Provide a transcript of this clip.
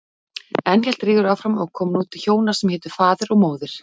Enn hélt Rígur áfram og kom nú til hjóna sem hétu Faðir og Móðir.